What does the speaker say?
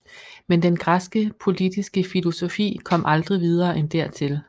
Men den græske politiske filosofi kom aldrig videre end dertil